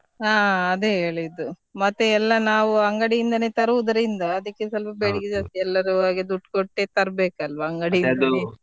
ಹಾ ಅದೇ ಹೇಳಿದ್ದು ಮತ್ತೆ ಎಲ್ಲ ನಾವ್ ಅಂಗಡಿಯಿಂದನೆ ತರೋದ್ರಿಂದ ಅದಿಕ್ಕೆ ಸ್ವಲ್ಪ ಬೇಡಿಕೆ ಜಾಸ್ತಿ ಎಲ್ಲರು ಹಾಗೆ ದುಡ್ಡು ಕೊಟ್ಟೆ ತರ್ಬೇಕಲ್ವಾ ಅಂಗಡಿಯಿಂದ .